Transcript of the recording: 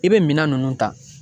I bɛ minan nunnu ta.